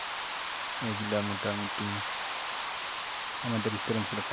এগুলা মোটামুটি আমাদের উত্তরাঞ্চলে থাকে।